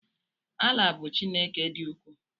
Allah bu Chineke di uku